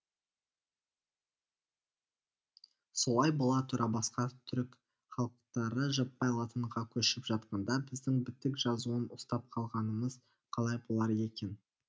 солай бола тұра басқа түрік халықтары жаппай латынға көшіп жатқанда біздің бітік жазуын ұстап қалғанымыз қалай болар екен